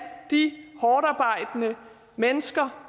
de hårdtarbejdende mennesker